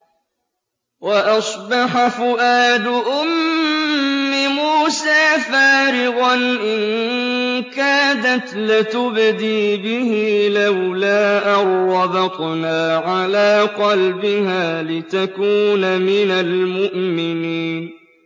وَأَصْبَحَ فُؤَادُ أُمِّ مُوسَىٰ فَارِغًا ۖ إِن كَادَتْ لَتُبْدِي بِهِ لَوْلَا أَن رَّبَطْنَا عَلَىٰ قَلْبِهَا لِتَكُونَ مِنَ الْمُؤْمِنِينَ